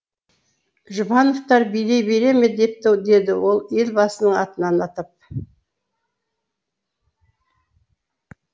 жұбановтар билей бере ме депті деді ол ел басының атын атап